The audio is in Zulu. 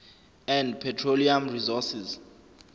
and petroleum resources